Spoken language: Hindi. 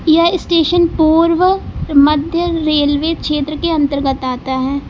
यह स्टेशन पूर्व मध्य रेलवे क्षेत्र के अंतर्गत आता है।